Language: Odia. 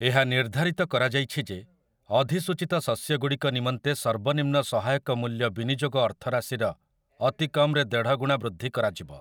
ଏହା ନିର୍ଦ୍ଧାରିତ କରାଯାଇଛି ଯେ ଅଧିସୂଚିତ ଶସ୍ୟଗୁଡ଼ିକ ନିମନ୍ତେ ସର୍ବନିମ୍ନ ସହାୟକ ମୂଲ୍ୟ ବିନିଯୋଗ ଅର୍ଥରାଶିର ଅତିକମ୍ ରେ ଦେଢ଼ଗୁଣା ବୃଦ୍ଧି କରାଯିବ ।